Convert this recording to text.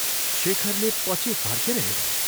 शेखरले पछि फर्केर हेऱ्यो।